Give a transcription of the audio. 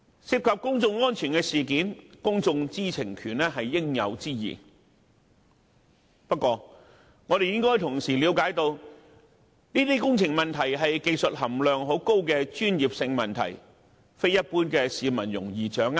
涉及公眾安全的事件，公眾知情權是應有之義，但我們亦應明白，這些工程問題屬技術含量很高的專業性問題，一般市民並不容易掌握。